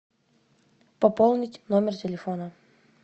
пополнить номер телефона